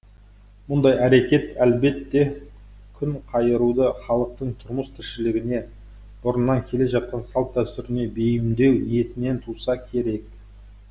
мұндай әрекет әлбетте күнқайыруды халықтың тұрмыс тіршілігіне бұрыннан келе жатқан салт дәстүріне бейімдеу ниетінен туса керек